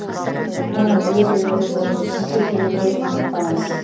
оның өз өмірі болуы тиіс екенін де ұмытпаңыз